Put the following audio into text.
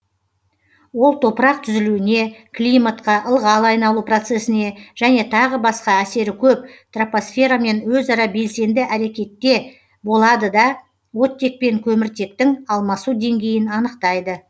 ол топырақ түзілуіне климатқа ылғал айналу процесіне және тағы басқа әсері көп тропосферамен өзара белсенді әрекетте болады да оттек пен көміртектің алмасу деңгейін анықтайды